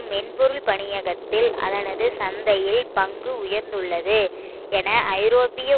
மென்பொருள் பணியகத்தில் அதனது சந்தையில் பங்கு உயர்ந்துள்ளது என ஐரோப்பிய